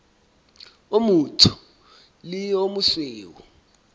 o motsho le o mosweu